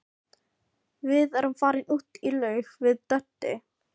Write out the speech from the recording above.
Við erum farin út í laug við Doddi.